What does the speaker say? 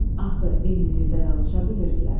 Axı eyni dildə danışa bilirdilər.